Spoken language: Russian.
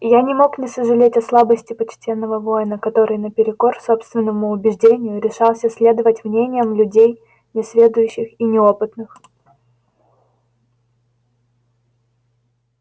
я не мог не сожалеть о слабости почтенного воина который наперекор собственному убеждению решался следовать мнениям людей несведущих и неопытных